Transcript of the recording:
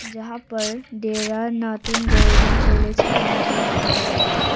जहां पर Dera Natung government college Itanagar लिखा गया है।